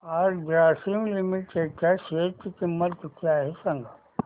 आज ग्रासीम लिमिटेड च्या शेअर ची किंमत किती आहे सांगा